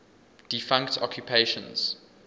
defunct occupations